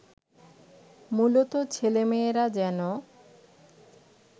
মূলত ছেলেমেয়েরা যেন